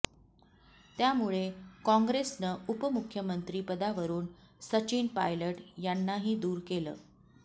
त्यामुळे काँग्रेसनं उपमुख्यमंत्री पदावरून सचिन पायलट यांनाही दूर केलं